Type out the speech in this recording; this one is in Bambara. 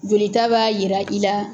Jolita b'a yira i la